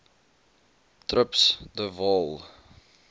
trips de waal